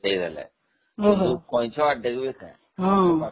ସେଇଭଳିଆ